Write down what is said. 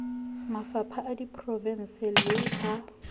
mafapha a diprovense le a